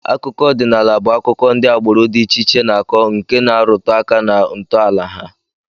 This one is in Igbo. Akụkọ ọdịnala bụ akụkọ ndị agbụrụ dị iche iche na-akọ nke na-arụtụ aka na ntọala ha